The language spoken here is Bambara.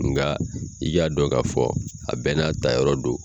Nga i k'a dɔn ka fɔ a bɛɛ n'a ta yɔrɔ do.